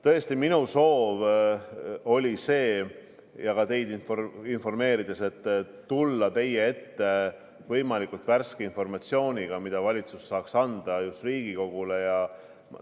Tõesti, minu soov oli teid informeerida, tulla teie ette võimalikult värske informatsiooniga, mida valitsus saaks Riigikogule anda.